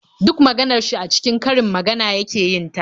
Duk maganar shi a cikin karin magana yake yin ta.